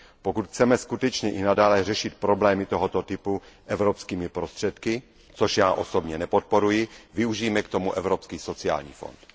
Pokud chceme skutečně i nadále řešit problémy tohoto typu evropskými prostředky, což já osobně nepodporuji, využijme k tomu Evropský sociální fond.